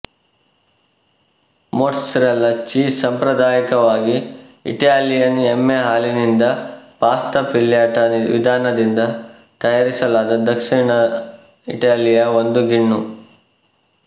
mozzarella cheese ಸಾಂಪ್ರದಾಯಿಕವಾಗಿ Italian ಎಮ್ಮೆ ಹಾಲಿನಿಂದ ಪಾಸ್ತಾ ಫಿಲ್ಯಾಟಾ ವಿಧಾನದಿಂದ ತಯಾರಿಸಲಾದ ದಕ್ಷಿಣ ಇಟಲಿಯ ಒಂದು ಗಿಣ್ಣು